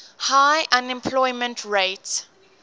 high unemployment rate